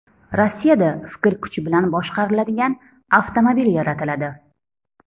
Rossiyada fikr kuchi bilan boshqariladigan avtomobil yaratiladi.